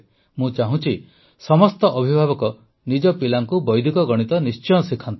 ମୁଁ ଚାହୁଁଛି ସମସ୍ତ ଅଭିଭାବକ ନିଜ ପିଲାଙ୍କୁ ବୈଦିକ ଗଣିତ ନିଶ୍ଚୟ ଶିଖାନ୍ତୁ